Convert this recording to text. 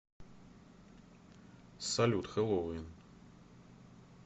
салют хэллоуин